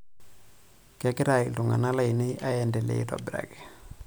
Kegira iltung'ana lainei aendelea aitobiraki.